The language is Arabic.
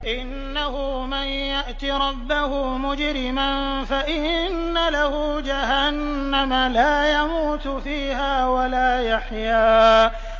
إِنَّهُ مَن يَأْتِ رَبَّهُ مُجْرِمًا فَإِنَّ لَهُ جَهَنَّمَ لَا يَمُوتُ فِيهَا وَلَا يَحْيَىٰ